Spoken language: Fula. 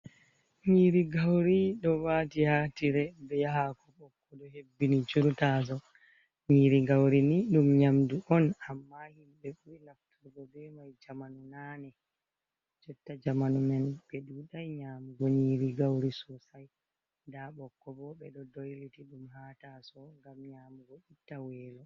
Nyiri gauri ɗo wati haa tire, ɓe haako ɓokko ɗo hebbini shur tasawo, nyiri gauri ni ɗum nyamdu on, amma him ɓe ɓuri nafturgo be mai jamanu naane, jotta jamanu men ɓe duɗai nyamgo nyiri gauri sosai nda bokko bo ɓe ɗo dolliti ɗum haa tasawo ngam nyamugo itta welo.